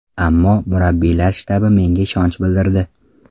Ammo, murabbiylar shtabi menga ishonch bildirdi.